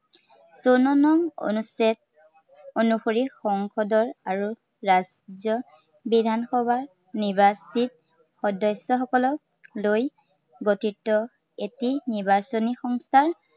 চৌৱন্ন নং অনুচ্ছেদ অনুসৰি সংসদৰ আৰু ৰাজ্য়ৰ বিধানসভাৰ নিৰ্বাচিত সদস্য়সকলক লৈ গঠিত এটি নিৰ্বাচনী সংস্থাই